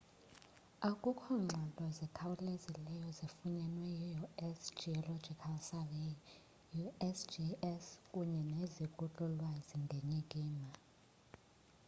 akukho ngxelo zikhawlezileyo zifunyenwe yi-u.s.geological survey usgs kunye neziko lolwazi ngenyikima